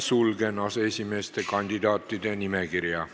Sulgen aseesimeeste kandidaatide nimekirja.